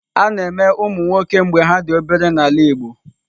A na-eme ụmụ nwoke mgbe ha dị obere n'ala Igbo.